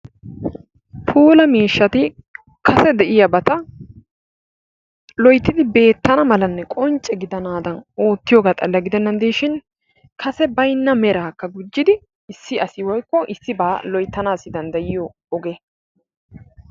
Puula miishshati kase de'iyabata loyttidi beettana malanne qoncce gidanaadan oottiyogaa xalla gidennan diishin kase baynna meraakka gujjidi issi asi woykko issibaa loyttanaassi danddayiyo oge.